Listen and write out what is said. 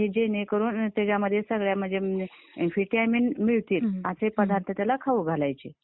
असं हे, जेणे करून त्याच्या मध्ये सगळ्या म्हणजे विटामीन मिळते असे पदार्थ त्याला खाऊ घालायचे.